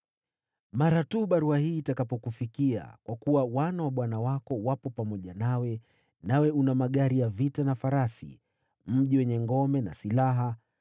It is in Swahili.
“Mara tu barua hii itakapokufikia, kwa kuwa wana wa bwana wako wapo pamoja nawe, nawe una magari ya vita na farasi, mji wenye ngome na silaha,